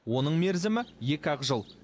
оның мерзімі екі ақ жыл